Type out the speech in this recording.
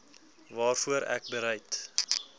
waarvoor ek bereid